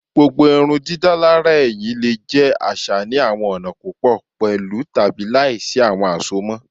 Gbogbo irundidalara ẹhin le jẹ aṣa ni awọn ọna pupọ pẹlu tabi laisi awọn asomọ